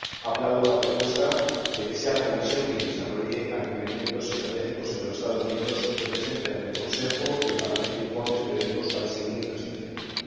Aplaudo la propuesta de que sea la Comisión la que desarrolle alineamientos estratégicos entre los Estados miembros y presente ante el Consejo y el Parlamento informes periódicos para el seguimiento de esta iniciativa.